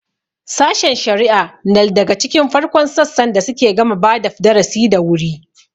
Sashen shari'a nal daga cikin farkon sassan da suke gama badap darasi da wuri.